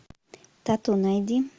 тату найди